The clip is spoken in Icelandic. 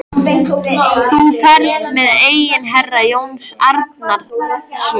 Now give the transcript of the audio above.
Þú ferð með eignir herra Jóns Arasonar.